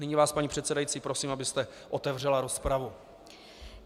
Nyní vás, paní předsedající, prosím, abyste otevřela rozpravu.